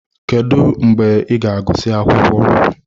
Kedu mgbe ị ga-agụsị akwụkwọ?